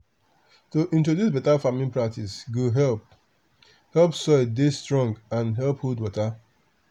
to introduce better farming practice go help help soil dey strong and help hold water.